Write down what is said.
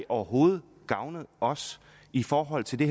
overhovedet gavnet os i forhold til det